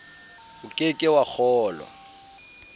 o ke ke wa kgolwa